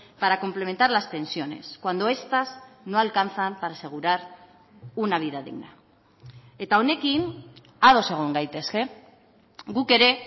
para complementar las pensiones cuando estas no alcanzan para asegurar una vida digna eta honekin ados egon gaitezke guk ere